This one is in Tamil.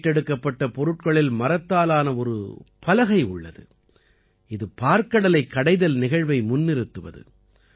மீட்டெடுக்கப்பட்ட பொருட்களில் மரத்தாலான ஒரு பலகை உள்ளது இது பாற்கடலைக் கடைதல் நிகழ்வை முன்னிறுத்துவது